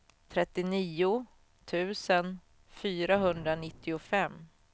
trettionio tusen fyrahundranittiofem